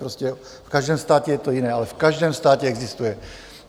Prostě v každém státě je to jiné, ale v každém státě existuje.